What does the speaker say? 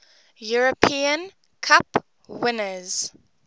european cup winners